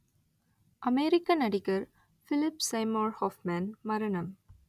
அமெரிக்க நடிகர் Philip Seymour Hoffman மரணம்